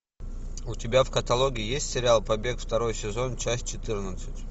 у тебя в каталоге есть сериал побег второй сезон часть четырнадцать